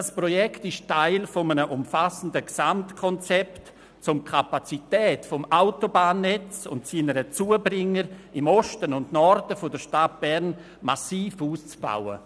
Das Projekt ist Teil eines umfassenden Gesamtkonzepts, mittels dem die Kapazität des Autobahnnetzes und seiner Zubringer im Osten und Norden der Stadt Bern massiv ausgebaut wird.